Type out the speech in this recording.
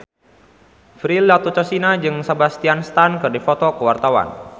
Prilly Latuconsina jeung Sebastian Stan keur dipoto ku wartawan